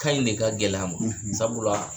Kan in de ka gɛlɛn a ma sabula